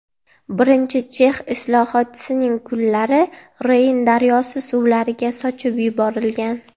Birinchi chex islohotchisining kullari Reyn daryosi suvlariga sochib yuborilgan.